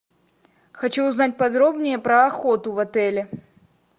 хочу узнать подробнее про охоту в отеле